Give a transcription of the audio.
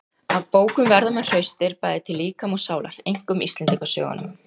Af bókum verða menn hraustir, bæði til líkama og sálar. einkum íslendingasögunum.